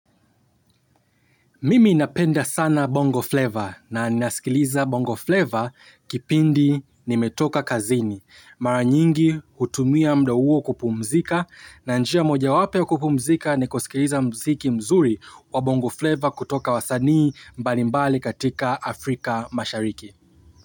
Mimi napenda sana Bongo Flavor na nasikiliza Bongo Flavor kipindi nimetoka kazini. Mara nyingi hutumia muda huo kupumzika na njia moja wapo wa kupumzika ni kusikiliza muziki mzuri wa Bongo Flavor kutoka wasanii mbali mbali katika Afrika mashariki.